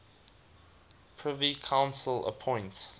privy council appoint